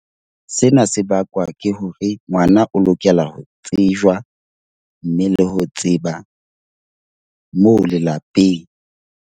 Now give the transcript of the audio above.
Sena se bakwa ke hore ngwana o lokela ho tsejwa, mme le ho tseba moo lelapeng.